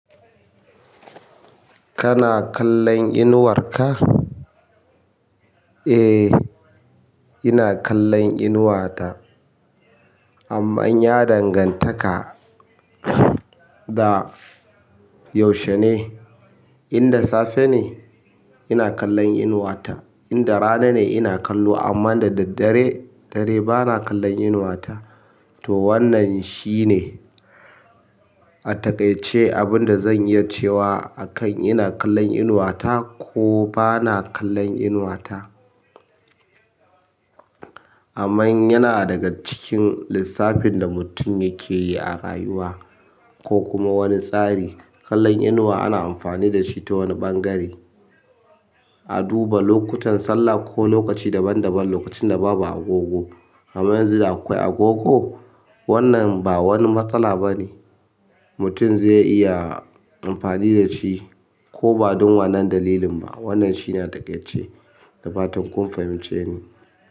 Kana kallon inuwar ka? Eh, ina kallon inuwata. Amman ya dangantaka da yaushe ne, inda safe ne, ina kallon inuwata. Inda rana ne, ina kallo amma da daddare, dare bana kallon inuwata, to wannan shine a takaice abin da zan iya cewa akan ina kallon inuwata ko bana kallon inuwata, amman yana daga cikin lissafin da mutun yake yi a rayuwa ko kuma wani tsari, kallon inuwa ana amfani da shi ta wani ɓangare a duba lokutan sallah ko lokaci daban-daban, lokacin da babu agogo, amma yanzu da akwai agogo, wannan ba wani matsala ba ne, mutum zai iya amfani da shi ko ba don wannan dalilin ba, wannan shine a taƙaice da fatan kun fahimce ni.